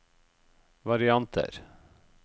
varianter